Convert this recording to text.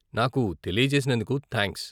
నాకు తెలియజేసినందుకు థాంక్స్ .